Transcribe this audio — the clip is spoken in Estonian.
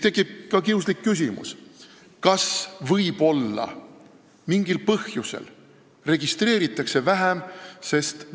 Tekib kiuslik küsimus: kas võib-olla mingil põhjusel registreeritakse vähem?